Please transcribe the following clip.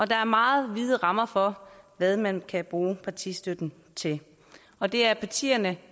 der er meget vide rammer for hvad man kan bruge partistøtten til og det er partierne